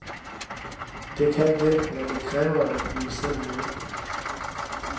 Det kan det, men det kræver, at vi selv vil.